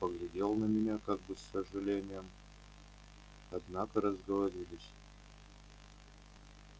он поглядел на меня как бы с сожалением однако разговорились